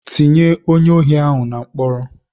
Ti ye onye ohi ahu na mkpọrọ!